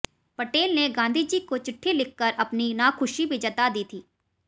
पटेल ने गांधीजी को चिठ्ठी लिखकर अपनी नाखुशी भी जता दी थी